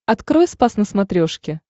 открой спас на смотрешке